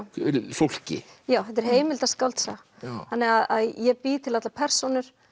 fólki þetta er heimildaskáldsaga þannig að ég bý til allar persónur